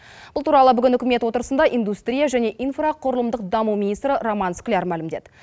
бұл туралы бүгін үкімет отырысында индустрия және инфрақұрылымдық даму министрі роман скляр мәлімдеді